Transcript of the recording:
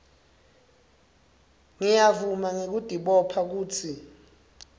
ngiyavuma ngekutibopha kutsi